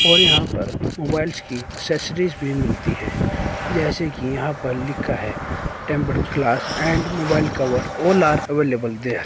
और यहां पर मोबाइल्स की एसेसरीज भी मिलती है जैसे कि यहां पर लिखा है tempered glass and mobile cover all are available there.